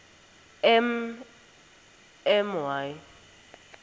m m y